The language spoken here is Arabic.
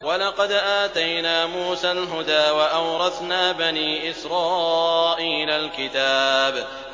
وَلَقَدْ آتَيْنَا مُوسَى الْهُدَىٰ وَأَوْرَثْنَا بَنِي إِسْرَائِيلَ الْكِتَابَ